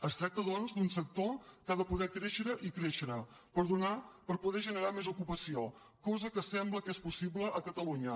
es tracta doncs d’un sector que ha de poder créixer i créixer per poder generar més ocupació cosa que sembla que és possible a catalunya